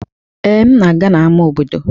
Ee, m na-aga n'ámá obodo.